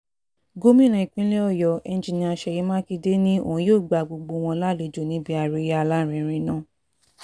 gomina ìpínlẹ̀ ọ̀yọ́ enjinnnia ṣèyí mákindè ni yóò gba gbogbo wọn lálejò níbi àríyá alárinrin náà